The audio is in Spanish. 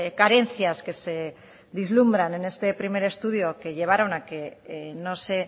carencias que se vislumbran en este primer estudio que llevaron a que no se